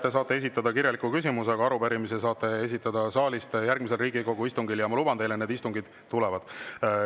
Te saate esitada kirjaliku küsimuse, aga arupärimise saate esitada saalist järgmisel Riigikogu istungil, ja ma luban teile, et need istungid tulevad.